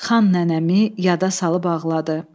Xan nənəmi yada salıb ağladı.